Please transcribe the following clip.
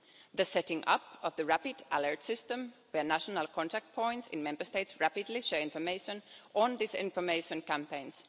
the setting up of the Rapid Alert System whereby national contact points in Member States rapidly share information on disinformation campaigns